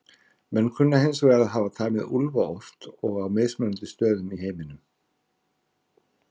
Menn kunna hins vegar að hafa tamið úlfa oft og á mismunandi stöðum í heiminum.